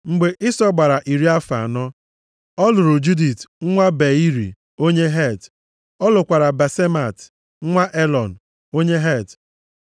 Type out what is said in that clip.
Mgbe Ịsọ gbara iri afọ anọ, ọ lụrụ Judit nwa Beiri, onye Het. Ọ lụkwara Basemat nwa Elọn, onye Het.